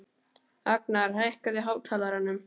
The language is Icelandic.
Agnar, hækkaðu í hátalaranum.